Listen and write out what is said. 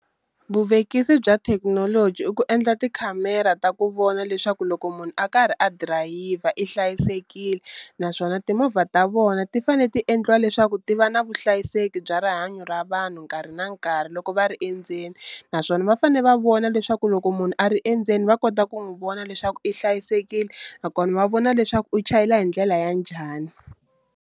Vuvekisi bya thekinoloji i ku endla tikhamera ta ku vona leswaku loko munhu a karhi a dirayivha i hlayisekile, naswona timovha ta vona ti fane ti endliwa leswaku ti va na vuhlayiseki bya rihanyo ra vanhu nkarhi na nkarhi loko va ri endzeni, naswona va fane va vona leswaku loko munhu a ri endzeni va kota ku n'wi vona leswaku i hlayisekile nakona va vona leswaku u chayela hi ndlela ya njhani.